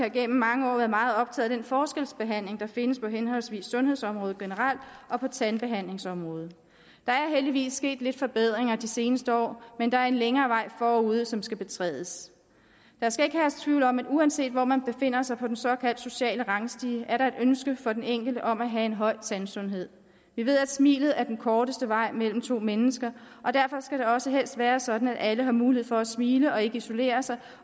igennem mange år været meget optaget af den forskelsbehandling der findes på henholdsvis sundhedsområdet generelt og på tandbehandlingsområdet der er heldigvis sket lidt forbedringer de seneste år men der er en længere vej forude som skal betrædes der skal ikke herske tvivl om at uanset hvor man befinder sig på den såkaldte sociale rangstige er der et ønske for den enkelte om at have en høj tandsundhed vi ved at smilet er den korteste vej mellem to mennesker og derfor skal det også helst være sådan at alle har mulighed for at smile og ikke isolere sig